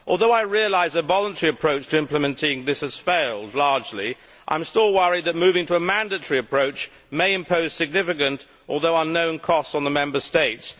Although I realise that a voluntary approach to implementing this has largely failed, I am still worried that moving to a mandatory approach may impose significant, although unknown, costs on the Member States.